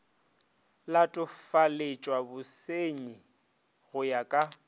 latofaletšwa bosernyi go ya ka